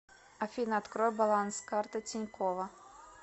афина открой баланс карты тинькова